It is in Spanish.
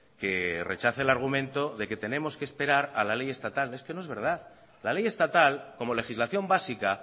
que rechace el argumento de que tenemos que esperar a la ley estatal es que no es verdad la ley estatal como legislación básica